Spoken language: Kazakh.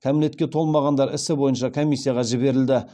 кәмелетке толмағандар ісі бойынша комиссияға жіберілді